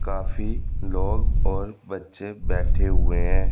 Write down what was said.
काफी लोग और बच्चे बैठे हुए हैं।